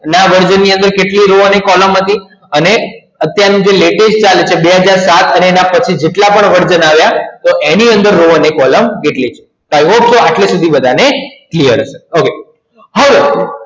નવા version ની અંદર કેટલા કોલમ હતી અને અત્યારનું જે latest version ચાલે છે બે હજાર ચાર અને પછી ને પણ version આવ્યા તો એની અંદર રો અને કોલમ કેટલી છે તો આ અત્યાર સુધી આટલે સુધી clear હશે okay હવે